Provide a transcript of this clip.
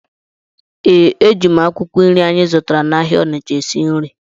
Ee, eji m akwụkwọ nri anyị zụtara n’ahịa Onitsha esi nri.